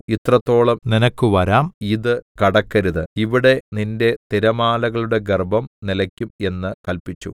ഇത്രത്തോളം നിനക്കുവരാം ഇത് കടക്കരുത് ഇവിടെ നിന്റെ തിരമാലകളുടെ ഗർവ്വം നിലയ്ക്കും എന്ന് കല്പിച്ചു